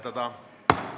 Kristina Šmigun-Vähi, palun!